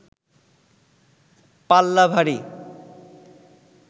পাল্লা ভারী